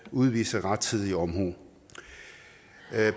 udvise rettidig omhu